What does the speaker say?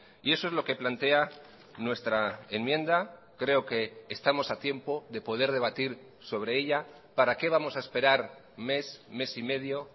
y eso es lo que plantea nuestra enmienda creo que estamos a tiempo de poder debatir sobre ella para qué vamos a esperar mes mes y medio